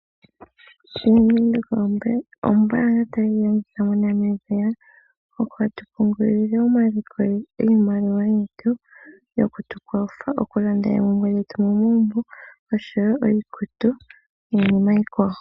Bank Windhoek Ombaanga tayi longithwa moNamibia , hatu pungulile iimaliwa yetu , yoku tu kwatha okulanda oompumbwe dhetu momagumbo oshowoo iikutu niinima iikwawo.